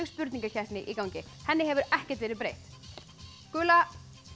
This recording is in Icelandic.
spurningakeppnin í gangi henni hefur ekkert verið breytt gula